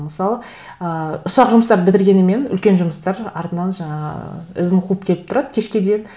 мысалы ыыы ұсақ жұмыстарды бітіргенімен үлкен жұмыстар артынан жаңа ізін қуып келіп тұрады кешке дейін